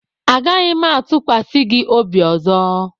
Agaghị m atụkwasị gị obi ọzọ